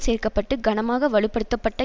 சேர்க்க பட்டு கனமாக வலுப்படுத்தப்பட்ட